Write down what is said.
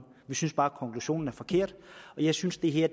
vi synes bare konklusionen er forkert og jeg synes det her